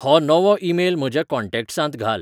हो नवो ईमेल म्हज्या कॉन्टॅक्टांत घाल